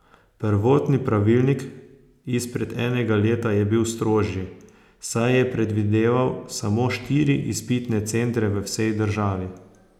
Prvotni pravilnik izpred enega leta je bil strožji, saj je predvideval samo štiri izpitne centre v vsej državi.